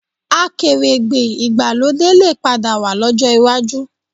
Akèrègbè ìgbàlódé lè padà wà lọ́jọ́ iwájú